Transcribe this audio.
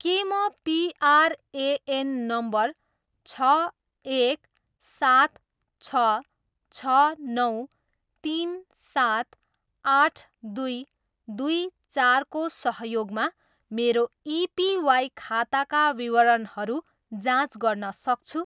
के म PRAN number छ, एक, सात, छ, छ, नौ, तिन, सात, आठ, दुई, दुई, चारको सहयोगमा मेरो एपिवाई खाताका विवरणहरू जाँच गर्न सक्छु?